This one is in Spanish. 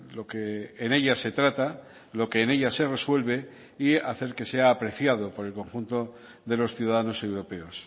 lo que en ella se trata lo que en ella se resuelve y hacer que sea apreciado por el conjunto de los ciudadanos europeos